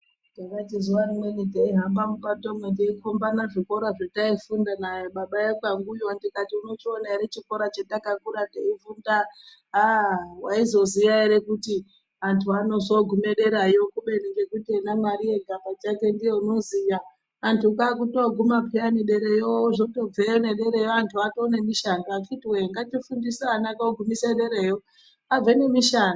Takati zuva rimweni teihamba mupatomo teikombana zvikora zvetaifunda nababa ekwanguyo ndikati unochiona ere chikora chetakakura teifunda. Aa vaizoziya ere kuti antu anozogume deravo kubeni ngekuti mwari ega pachake ndiye anoziya antu kwakutoguma peyani dereyo otobveyo nedereyo antu atone nemishando. Akhiti woye ngatifundise ana kogumise nedereyo abve nemishando.